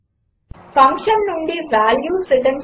function నుండి values return చేయడం